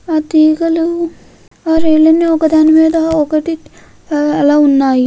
ఆ తీగలు ఒకదానిమీద ఒకటి అలాగే ఉన్నాయి.